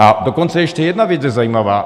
A dokonce ještě jedna věc je zajímavá.